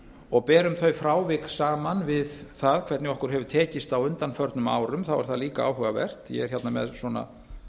og berum þau frávik saman við það hvernig okkur hefur tekist á undanförnum árum er það líka áhugavert ég er hérna með svona